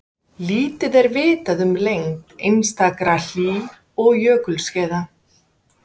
Lítið er vitað um lengd einstakra hlý- og jökulskeiða.